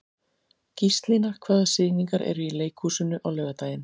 Gíslína, hvaða sýningar eru í leikhúsinu á laugardaginn?